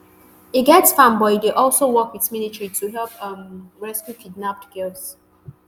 e get farm but e dey also work wit military to help um rescue kidnapped girls